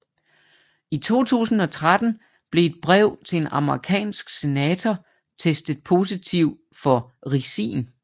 I 2013 blev et brev til en amerikansk senator testet positiv for ricin